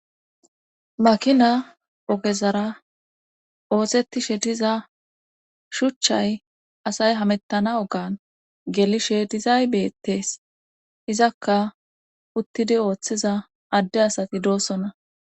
makina ogezara oosetishe diza shuchchay asay hamettana ogan gelishe dizay beetes izakka uttidi ooththiza adde asati doossonna